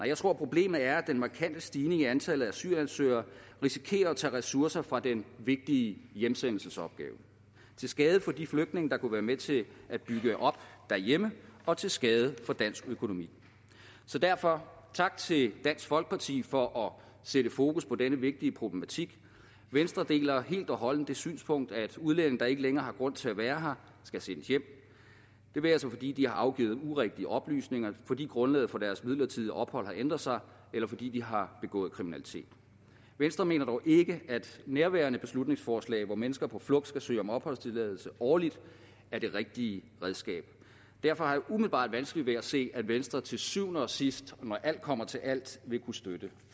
jeg tror at problemet er at den markante stigning i antallet af asylansøgere risikerer at tage ressourcer fra den vigtige hjemsendelsesopgave til skade for de flygtninge der kunne være med til at bygge op derhjemme og til skade for dansk økonomi så derfor tak til dansk folkeparti for at sætte fokus på denne vigtige problematik venstre deler helt og holdent det synspunkt at udlændinge der ikke længere har grund til at være her skal sendes hjem det være sig fordi de har afgivet urigtige oplysninger fordi grundlaget for deres midlertidige ophold har ændret sig eller fordi de har begået kriminalitet venstre mener dog ikke at nærværende beslutningsforslag hvor mennesker på flugt skal søge om opholdstilladelse årligt er det rigtige redskab derfor har jeg umiddelbart vanskeligt ved at se at venstre til syvende og sidst og når alt kommer til alt vil kunne støtte